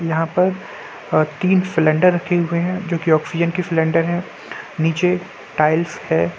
यहाँ पर अ तीन सिलिंडर रखे हुए हैं जो की ऑक्सीजन की सिलिंडर हैं निचे टाइल्स है।